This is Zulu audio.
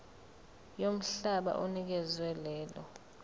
yomhlaba onikezwe lelo